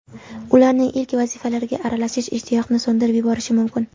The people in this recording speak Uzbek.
Ularning ilk vazifalariga aralashish ishtiyoqni so‘ndirib yuborishi mumkin.